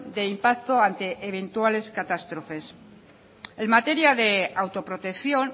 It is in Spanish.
de impacto ante eventuales catástrofes en materia de autoprotección